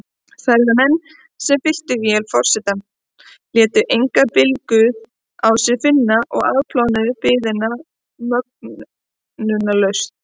Ferðamenn, sem fylltu vél forsetans, létu engan bilbug á sér finna og afplánuðu biðina möglunarlaust.